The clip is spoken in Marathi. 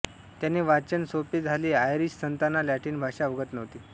त्याने वाचन सोपे झाले आयरिश संतांना लॅटिन भाषा अवगत नव्हती